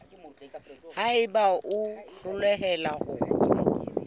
ha eba o hloleha ho